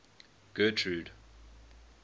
getrude